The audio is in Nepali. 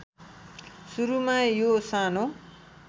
सुरूमा यो सानो